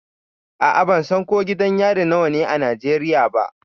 A'a, ban san ko gidan yari nawa ne a Najeriya ba.